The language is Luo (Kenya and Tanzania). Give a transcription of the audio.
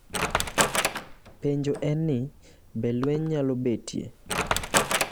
Penjo en ni, be lweny nyalo betie?